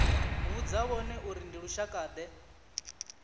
vhudza vhone uri ndi lushakade